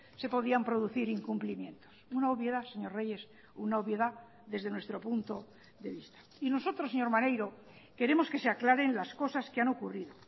se podían producir incumplimientos una obviedad señor reyes una obviedad desde nuestro punto de vista y nosotros señor maneiro queremos que se aclaren las cosas que han ocurrido